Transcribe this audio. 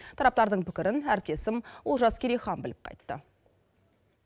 тараптардың пікірін әріптесім олжас керейхан біліп қайтты